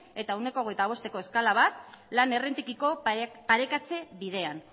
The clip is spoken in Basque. eta ehuneko hogeita bosteko eskala bat lan errentekiko parekatze bidean